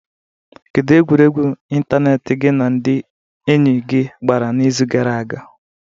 Kedu egwuregwu ịntanetị gị na ndị enyi gị gbara n'izu gara aga?